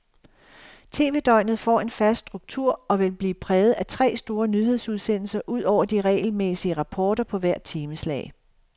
Tv-døgnet får en fast struktur og vil blive præget af tre store nyhedsudsendelser ud over de regelmæssige rapporter på hvert timeslag.